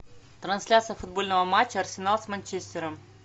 трансляция футбольного матча арсенал с манчестером